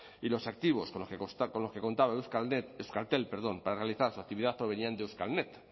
y los activos con los que contaba euskalnet euskaltel perdón para realizar su actividad provenían de euskalnet